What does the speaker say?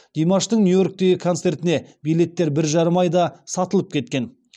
димаштың нью йорктегі концертіне билеттер бір жарым айда сатылып кеткен